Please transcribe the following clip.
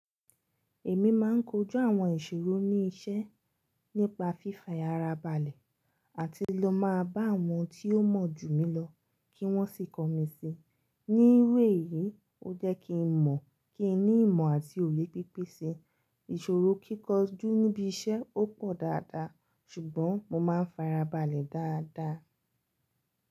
Èmi máa ń kojú àwọn ìṣòro ní iṣẹ́ nípa fìfàyàrábalẹ̀ àti lọ máa bá àwọn tí ó mọ̀ jù mí lọ kí wọ́n sì kọ́ mi sí ní irú èyí. Ó jẹ́ kí n mọ̀, kí n ní ìmọ̀ àti òye pípésè. Ìṣòro kíkọjú níbi iṣẹ́ ó pọ̀ dáadáa ṣùgbọ́n mo máa ń fara balẹ̀ dáadáa.